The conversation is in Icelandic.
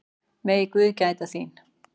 Megi guð gæta þín.